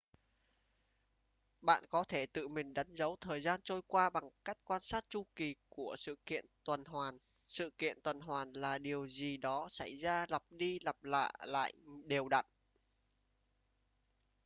bạn có thể tự mình đánh dấu thời gian trôi qua bằng cách quan sát chu kỳ của sự kiện tuần hoàn sự kiện tuần hoàn là điều gì đó xảy ra lặp đi lặp lại đều đặn